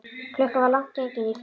Klukkan var langt gengin í fimm.